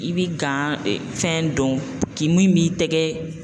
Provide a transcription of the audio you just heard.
I bi fɛn dɔn k'i min b'i tɛgɛ